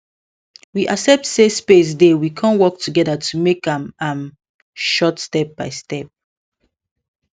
we accept say space dey we con work together to make am am short step by step